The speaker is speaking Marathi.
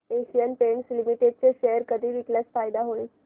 एशियन पेंट्स लिमिटेड चे शेअर कधी विकल्यास फायदा होईल